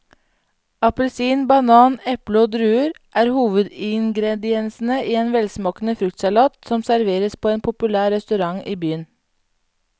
Appelsin, banan, eple og druer er hovedingredienser i en velsmakende fruktsalat som serveres på en populær restaurant i byen.